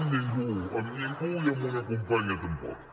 amb ningú amb ningú i amb una companya tampoc